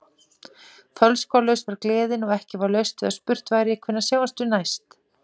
Fölskvalaus var gleðin og ekki var laust við að spurt væri: Hvenær sjáumst við næst?